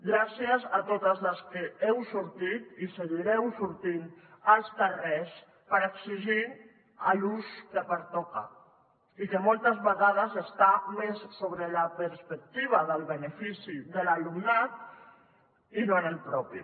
gràcies a totes les que heu sortit i seguireu sortint als carrers per exigir l’ús que pertoca i que moltes vegades està més sobre la perspectiva del benefici de l’alumnat i no en el propi